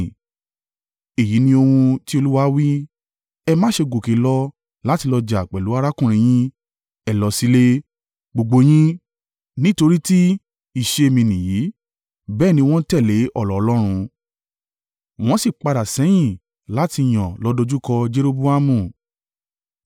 ‘Èyí ní ohun tí Olúwa wí. Ẹ má ṣe gòkè lọ láti lọ jà pẹ̀lú arákùnrin yín, ẹ lọ sílé, gbogbo yín, nítorí ti ìṣe mi nìyí.’ ” Bẹ́ẹ̀ ni wọ́n tẹ̀lé ọ̀rọ̀ Ọlọ́run, wọ́n sì padà sẹ́yìn láti yan lọ dojúkọ Jeroboamu.